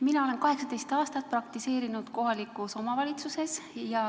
Mina olen 18 aastat praktiseerinud kohalikus omavalitsuses.